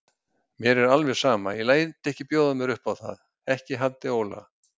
Mér er alveg sama, ég læt ekki bjóða mér upp á það, ekki Haddi Óla.